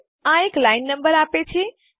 આ અમને એક લાઈન નંબર રેખા ક્રમાંક આપે છે